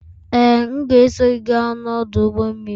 Ee, m ga-eso gị gaa n'ọdụ ụgbọ mmiri